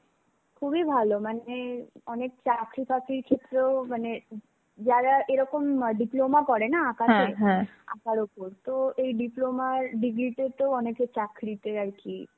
খুবই ভালো মানে অনেক চাকরি ফাকরির ক্ষেত্রেও মানে যারা এরকম ম diploma করে না, আঁকাতে, আঁকার উপর তো এই diploma র degree তে তো অনেকের চাকরিতে আর কি